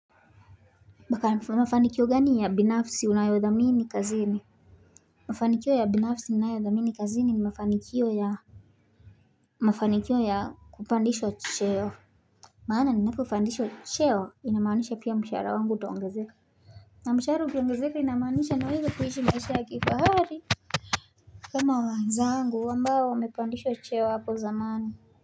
Baka mafanikio gani ya binafsi unayodhamini kazini Mafanikio ya binafsi ninayodhamini kazini ni mafanikio ya Mafanikio ya kupandishwa cheo Maana ni napo kufandishwa cheo inamaanisha pia mshaara wangu utaongazeka na mshaara wangu ukiongazeka inamaanisha nawezakuishi maishi ya kifaari kama waanzangu ambao wamepandishwa cheo hapo zamani.